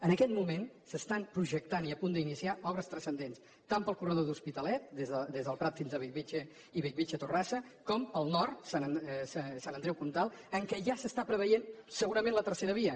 en aquest moment s’estan projectant i a punt d’iniciar obres transcendents tant per al corredor de l’hospitalet des del prat fins a bellvitge i bellvitge la torrassa com pel nord sant andreu comtal en què ja s’està preveient segurament la tercera via